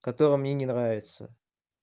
который мне не нравится